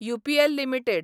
UPL limited